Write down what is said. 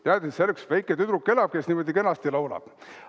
Ta teadis, et seal elab üks väike tüdruk, kes kenasti laulab.